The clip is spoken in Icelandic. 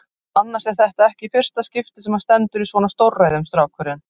Annars er þetta ekki í fyrsta skipti sem hann stendur í svona stórræðum, strákurinn.